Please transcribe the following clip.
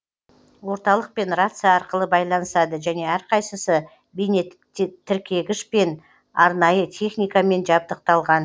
орталықпен рация арқылы байланысады және әрқайсысы бейнетіркегішпен арнайы техникамен жабдықталған